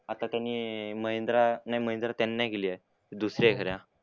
आता त्यांनी महिंद्रा नाही महिंद्रा त्यांनी नाही केली आहे. दुसरी आहे खरं.